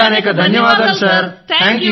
C cadets అందరూ అనేకానేక ధన్యవాదాలు సర్